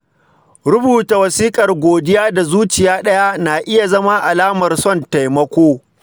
Rubuta wasikar godiya da zuciya ɗaya na iya zama alamar son taimako.